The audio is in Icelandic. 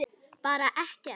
Bara ekkert.